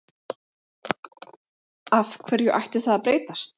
Af hverju ætti það að breytast?